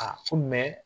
Aa ko